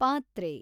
ಪಾತ್ರೆ